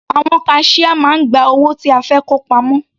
Àwọn kaṣíá máa ń gba owó tí a fẹ́ kó pamọ́.